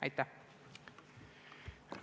Aitäh!